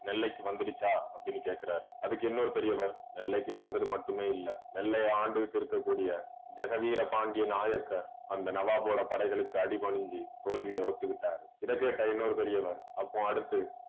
நெல்லைக்கு வந்துடுச்சா அப்பிடின்னு கேக்குறாரு. அதுக்கு இன்னொரு பெரியவர் நெல்லைக்கு வந்தது மட்டுமே இல்ல நெல்லையை ஆண்டுகிட்டு இருக்கக்கூடிய ஜெகதீரபாண்டிய நாயக்கர் அந்த நவாபோட படைகளுக்கு அடிபணிஞ்சி தோல்வியை ஒத்துக்கிட்டாரு. இதைக்கேட்ட இன்னொரு பெரியவர் அப்போ அடுத்து